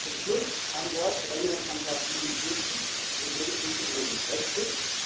Zum Schluss ein Wort zu Änderungsantrag 47 Hier dreht es sich um den Brexit.